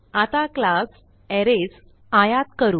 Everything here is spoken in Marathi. आता क्लास अरेज आयात करू